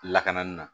Lakanani na